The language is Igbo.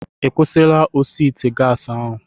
Ị kwụsịrị osi ite gas ahu?